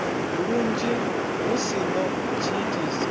lunzhi hu si na tshiitisi